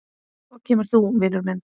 Svo kemur þú, minn vinur.